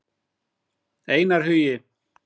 Einar Hugi.